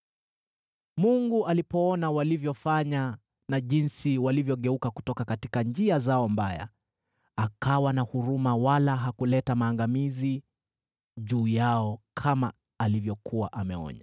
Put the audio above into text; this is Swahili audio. Mungu alipoona walivyofanya na jinsi walivyogeuka kutoka njia zao mbaya, akawa na huruma wala hakuleta maangamizi juu yao kama alivyokuwa ameonya.